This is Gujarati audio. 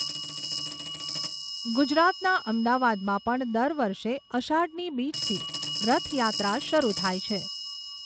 ગુજરાતના અમદાવાદમાં પણ દર વર્ષે અષાઢની બીજથી રથયાત્રા શરૂ થાય છે.